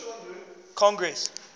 congress